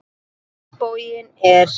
Á hinn bóginn er